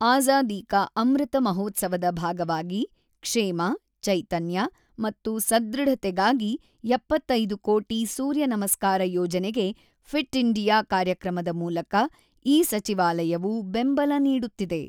ಆಜಾದಿ ಕಾ ಅಮೃತ ಮಹೋತ್ಸವದ ಭಾಗವಾಗಿ ಕ್ಷೇಮ, ಚೈತನ್ಯ ಮತ್ತು ಸದೃಢತೆಗಾಗಿ 75 ಕೋಟಿ ಸೂರ್ಯನಮಸ್ಕಾರ ಯೋಜನೆಗೆ ಫಿಟ್ ಇಂಡಿಯಾ ಕಾರ್ಯಕ್ರಮದ ಮೂಲಕ ಈ ಸಚಿವಾಲಯವು ಬೆಂಬಲ ನೀಡುತ್ತಿದೆ.